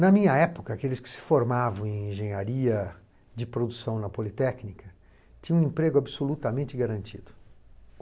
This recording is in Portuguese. Na minha época, aqueles que se formavam em engenharia de produção na Politécnica tinham um emprego absolutamente garantido.